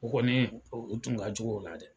U kɔni o tun ka jugu o la dɛ